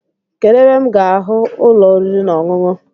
Kedu ebe m ga ahụ ụlọ oriri na-ọṅụṅụ